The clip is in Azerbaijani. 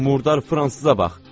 Bu murdar fransıza bax!